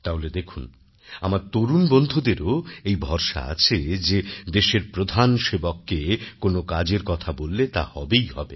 তাহলে দেখুন আমার তরুণ বন্ধুদেরও এই ভরসা আছে যে দেশের প্রধান সেবককে কোনও কাজের কথা বললে তা হবেই হবে